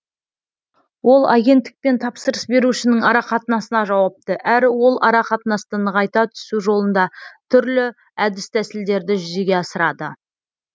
ол агенттік пен тапсырыс берушінің арақатынасына жауапты әрі ол арақатынасты нығайта түсу жолында түрлі әдіс тәсілдерді жүзеге асырады